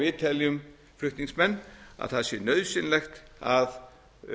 við teljum flutningsmenn að það sé nauðsynlegt að